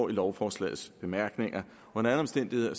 lovforslagets bemærkninger under alle omstændigheder